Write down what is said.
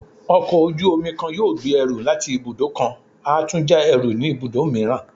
Ọkọ ojú-omi kan yóò gbé ẹrú latí ibudọ kán a tu ja ẹrú ni ibudọ miiran